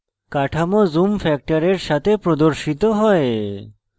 কাঠামো zoom factor সাথে প্রদর্শিত হয়